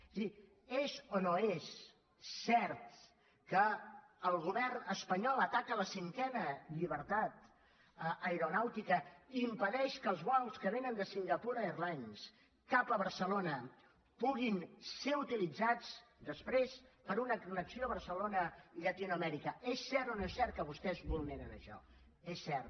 és a dir és o no és cert que el govern espanyol ataca la cinquena llibertat aeronàutica i impedeix que els vols que vénen de singapore airlines cap a barcelona puguin ser utilitzats després per a una connexió barcelona llatinoamèrica és cert o no és cert que vostès vulneren això és cert